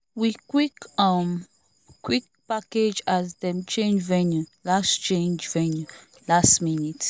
we quick um quick package as them change venue last change venue last minute